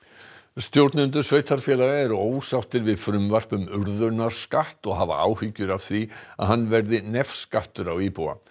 stjórnendur sveitarfélaga eru ósáttir við frumvarp um og hafa áhyggjur af því að hann verði nefskattur á íbúa